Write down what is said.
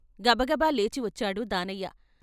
గబగబ లేచివచ్చాడు దానయ్య.